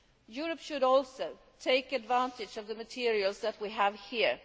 Europe should also take advantage of the materials that we have here.